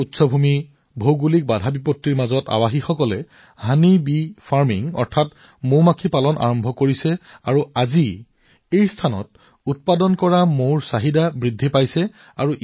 পাহাৰৰ ইমান উচ্চতাত ভৌগোলিক অসুবিধা কিন্তু ইয়াত থকা লোকসকলে মৌ মৌ মাখি পালনৰ কাম আৰম্ভ কৰিছিল আৰু আজি এই ঠাইত প্ৰস্তুত হোৱা মৌৱে ভাল চাহিদা পাইছে